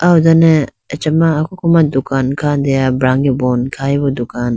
aho done achama kokoma dukan khandeya brage bon khayibo dukan.